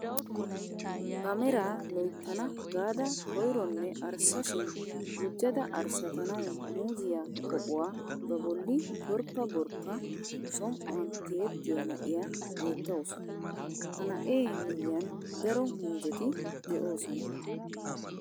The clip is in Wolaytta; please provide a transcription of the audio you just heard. Ba meraa loyttana gaada koyronne arssa shin gujjada arssatanawu muziyaa pooquwaa ba bolli gorppa gorppa som"uwaan tiyettiyaa na'iyaa beettawus. ha na'ee miyiaan daro muuzeti de'oosona.